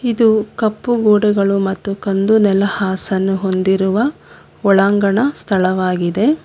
ಇದು ಕಪ್ಪು ಗೋಡೆಗಳು ಮತ್ತು ಕಂದು ನೆಲ ಹಾಸ ಅನ್ನು ಹೊಂದಿರುವ ಒಳಾಂಗಣ ಸ್ಥಳವಾಗಿದೆ.